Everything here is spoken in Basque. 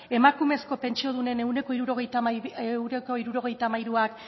emakumezko pentsiodunen ehuneko hirurogeita hamairuak